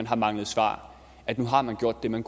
har manglet svar at nu har man gjort det man